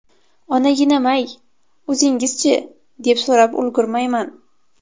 Onaginam-ay, o‘zingiz-chi, deb so‘rab ulgurmayman.